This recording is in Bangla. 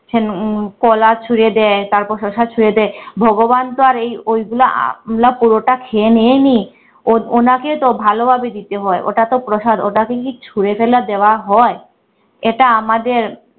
বলেছেন উম কলা ছুঁড়ে দেয় তারপর শশা ছুঁড়ে দেয়। ভগবান তো আর এই ওইগুলো আমলা~ পুরাটা খেয়ে নেয় নি ও উনাকে তো ভালোভাবে দিতে হয় ওটা তো প্রসাদ ওটাকে কি ছুঁড়ে ফেলা দেয়া হয়? এটা আমাদের